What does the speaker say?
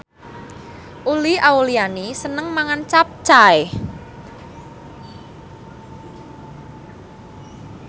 Uli Auliani seneng mangan capcay